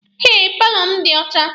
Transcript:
Eh, paalọ m dị ọcha.